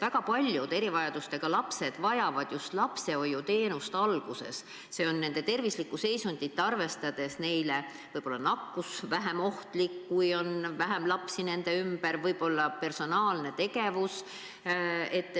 Väga paljud erivajadustega lapsed vajavad lapsehoiuteenust just alguses, nende tervislikku seisundit arvestades, võib-olla on vähem nakkusohtlik, kui on vähem lapsi nende ümber, võib-olla on vaja personaalset tegevust.